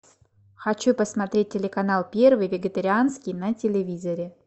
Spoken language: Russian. хочу посмотреть телеканал первый вегетарианский на телевизоре